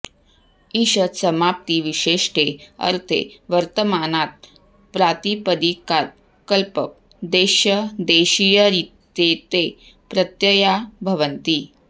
ईषदसमाप्तिविशेष्टे ऽर्थे वर्तमानात् प्रातिपदिकात् कल्पप् देश्य देशीयरित्येते प्रत्यया भवन्ति